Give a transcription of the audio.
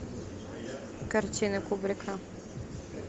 картины кубрика